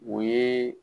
O ye